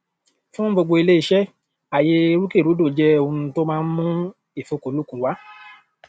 fún gbogbo ilé iṣẹ àyè rúkèrúdò jẹ ohun tó máa ń mú ìfikúnluùkùn wà